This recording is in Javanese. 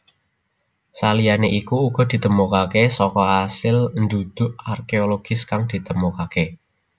Saliyane iku uga ditemokake saka asil ndhudhuk arkeologis kang ditemokake